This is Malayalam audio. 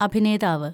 അഭിനേതാവ്